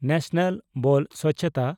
national ᱵᱚᱞ ᱥᱚᱪᱪᱷᱛᱟ